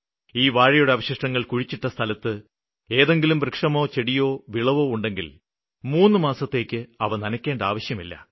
ഈ വാഴയുടെ അവശിഷ്ടങ്ങള് കുഴിച്ചിട്ട സ്ഥലത്ത് ഏതെങ്കിലും വൃക്ഷമോ ചെടിയോ വിളവോ ഉണ്ടെങ്കില് മൂന്നുമാസത്തേയ്ക്ക് അവ നനയ്ക്കേണ്ട ആവശ്യമില്ല